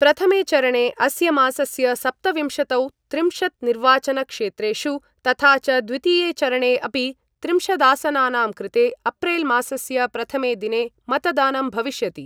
प्रथमेचरणे अस्य मासस्य सप्तविंशतौ त्रिंशत् निर्वाचनक्षेत्रेषु तथा च द्वितीये चरणे अपि त्रिंशदासनानां कृते अप्रैल मासस्य प्रथमे दिने मतदानं भविष्यति।